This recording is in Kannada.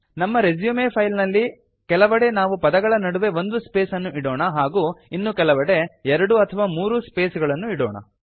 ನಮ್ಮ ರೆಸ್ಯೂಮ್ ಫೈಲ್ ನಲ್ಲಿ ಕೆಲವೆಡೆ ನಾವು ಪದಗಳ ನಡುವೆ ಒಂದು ಸ್ಪೇಸ್ ಅನ್ನು ಇಡೋಣ ಹಾಗೂ ಇನ್ನು ಕೆಲವೆಡೆ ಎರಡು ಅಥವಾ ಮೂರು ಸ್ಪೇಸ್ಗಳನ್ನು ಇಡೋಣ